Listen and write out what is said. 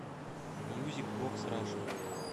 мьюзик бокс раша